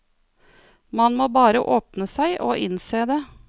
Man må bare åpne seg og innse det.